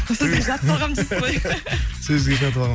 сөзге жатып алғанмын дейсіз ғой сөзге жатып алғам